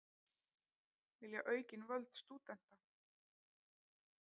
Vilja aukin völd stúdenta